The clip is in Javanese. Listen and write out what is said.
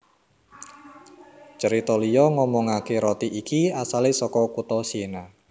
Cerita liya ngomongake roti iki asale saka kutha Siena